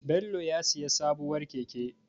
Bello ya sayi sabuwar keke.